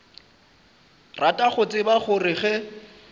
rata go tseba gore ge